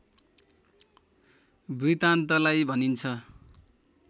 वृतान्तलाई भनिन्छ